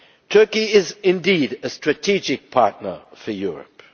Turkey is indeed a strategic partner for Europe.